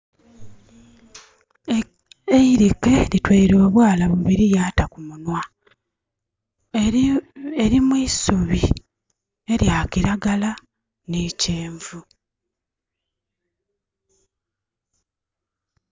Eirike litweile obwaala bubiri lyata kumunwa. Eri mu isubi elya kiralagala ni kyenvu